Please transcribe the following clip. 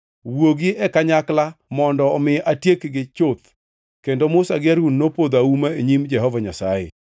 “Wuogi e kanyakla mondo omi atiekgi chuth.” Kendo Musa gi Harun nopodho auma e nyim Jehova Nyasaye.